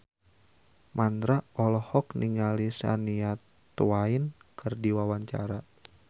Mandra olohok ningali Shania Twain keur diwawancara